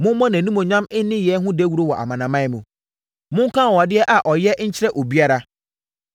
Mommɔ nʼanimuonyam nneyɛɛ ho dawuro wɔ amanaman mu. Monka anwanwadeɛ a ɔyɛ nkyerɛ obiara.